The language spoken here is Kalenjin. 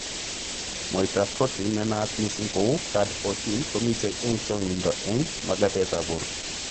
Mwaitab protein nenaat mising kou card14 komitei eng' chong'indo eng' magatetab borto